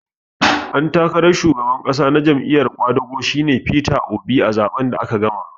Ɗan takaran shugaban ƙasa na Jam'iyar ƙwadago shi ne Peter Obi a zaɓen da aka gama